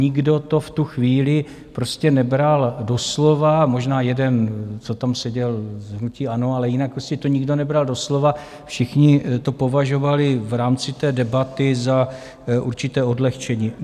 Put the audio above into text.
Nikdo to v tu chvíli prostě nebral doslova, možná jeden, co tam seděl z hnutí ANO, ale jinak to nikdo nebral doslova, všichni to považovali v rámci té debaty za určité odlehčení.